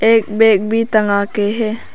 एक बैग भी टंगा के है।